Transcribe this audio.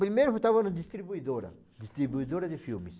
Primeiro que eu estava no distribuidora, distribuidora de filmes.